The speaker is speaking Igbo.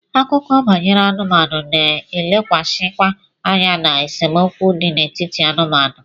Akụkọ banyere anụmanụ na-elekwasịkwa anya na esemokwu dị n'etiti anụmanụ.